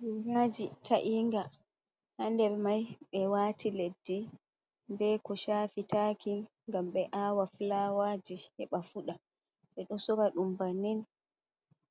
Goraji ta’inga, hander mai ɓe wati leddi, be ko shafitaki ngam be awa fulawaji heɓa fuɗa. ɓeɗo sora ɗum bannin